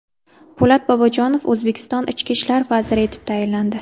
Po‘lat Bobojonov O‘zbekiston ichki ishlar vaziri etib tayinlandi.